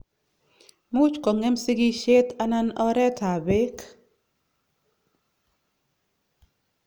Muuch kong'em sigisyet anan oreeet ab beek